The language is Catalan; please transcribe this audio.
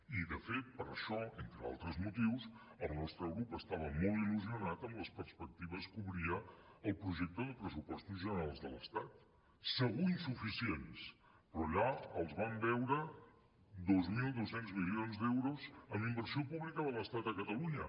i de fet per això entre altres motius el nostre grup estava molt il·lusionat amb les perspectives que obria el projecte de pressupostos generals de l’estat segur insuficients però allà els vam veure dos mil dos cents milions d’euros en inversió pública de l’estat a catalunya